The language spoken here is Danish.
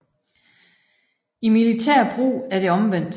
I militær brug er det omvendt